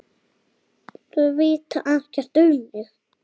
Þeir vita ekkert um mig.